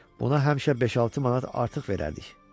Buna həmişə beş-altı manat artıq verərdik.